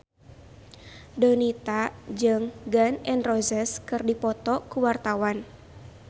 Donita jeung Gun N Roses keur dipoto ku wartawan